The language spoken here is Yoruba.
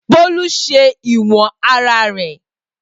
Bolu ṣe iwọn ara rẹ.